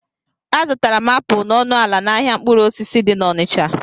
A zụtara m apụl na ọnụ ala n'ahịa mkpụrụ osisi dị n'Ọnịcha